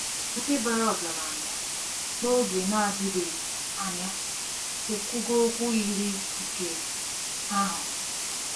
Ndị bàrà ọgaranya n'oge na-adịbeghị anya ekwugo okwu yiri nke ahụ.